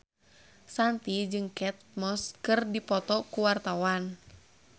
Shanti jeung Kate Moss keur dipoto ku wartawan